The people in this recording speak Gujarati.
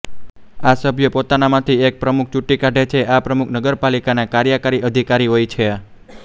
આ સભ્યો પોતાનામાંથી એક પ્રમુખ ચૂંટી કાઢે છે આ પ્રમુખ નગપાલિકાના કાર્યકારી અધિકારી હોય છે